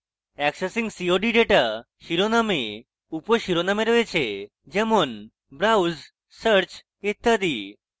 accessing cod data শিরোনামে উপশিরোনামে রয়েছে যেমন browse search ইত্যাদি